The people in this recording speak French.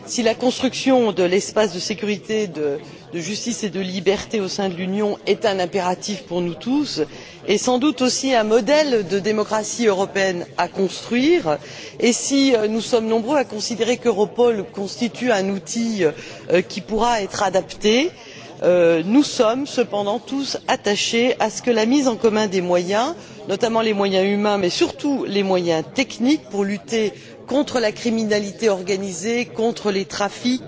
Si la construction de l'espace de sécurité, de justice et de liberté au sein de l'Union est un impératif pour nous tous, et sans doute aussi un modèle de démocratie européenne à construire, et si nous sommes nombreux à considérer qu'Europol constitue un outil qui pourra être adapté, nous sommes cependant tous attachés à ce que la mise en commun des moyens notamment les moyens humains, mais surtout les moyens techniques pour lutter contre la criminalité organisée, contre les trafics